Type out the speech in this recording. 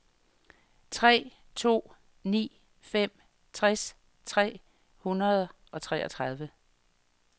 tre to ni fem tres tre hundrede og treogtredive